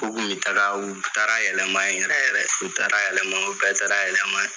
U kun bi taga, u taara yɛlɛma ye yɛrɛ yɛrɛ. U taara yɛlɛma, u bɛɛ taara yɛlɛma ye.